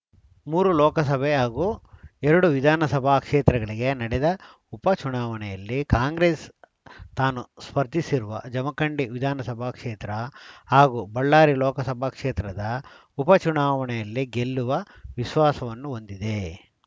ಮೂರು ಲೋಕಸಭೆ ಹಾಗೂ ಎರಡು ವಿಧಾನಸಭಾ ಕ್ಷೇತ್ರಗಳಿಗೆ ನಡೆದ ಉಪ ಚುನಾವಣೆಯಲ್ಲಿ ಕಾಂಗ್ರೆಸ್‌ ತಾನೂ ಸ್ಪರ್ಧಿಸಿರುವ ಜಮಖಂಡಿ ವಿಧಾನಸಭಾ ಕ್ಷೇತ್ರ ಹಾಗೂ ಬಳ್ಳಾರಿ ಲೋಕಸಭಾ ಕ್ಷೇತ್ರದ ಉಪ ಚುನಾವಣೆಯಲ್ಲಿ ಗೆಲ್ಲುವ ವಿಶ್ವಾಸವನ್ನು ಹೊಂದಿದೆ